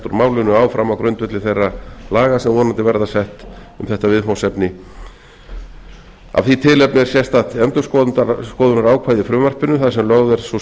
úr málinu áfram á grundvelli þeirra laga sem vonandi verða sett um þetta viðfangsefni af því tilefni er sérstakt endurskoðunarákvæði í frumvarpinu þar sem lögð er sú